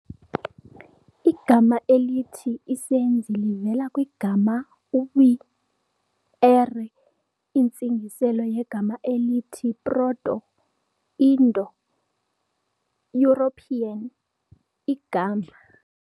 Igama elithi isenzi livela kwigama "w"ere-", intsingiselo yegama elithi Proto-Indo-European "igama".